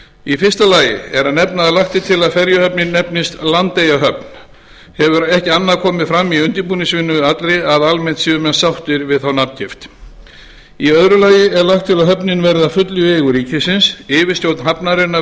í fyrsta lagi er að nefna að lagt er til að ferjuhöfnin nefnist landeyjahöfn hefur ekki annað komið fram í undirbúningsvinnu allri en að almennt séu menn sáttir við þá nafngift í öðru lagi er lagt til að höfnin verði að fullu í eigu ríkisins yfirstjórn hafnarinnar